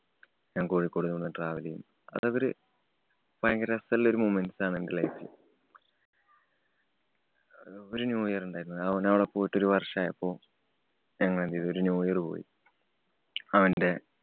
ഞാന്‍ കോഴിക്കോട് നിന്ന് travel ചെയ്യും. അതവര് ഭയങ്കര രസള്ള ഒരു movements ആണ് എന്‍റെ life ല്. ഒരു new year ഉണ്ടാരുന്നു. അവനവിടെ പോയിട്ട് ഒരു വര്‍ഷം ആയപ്പോ. ഞങ്ങള്‍ എന്തു ചെയ്തു. ഒരു new year പോയി അവന്‍റെ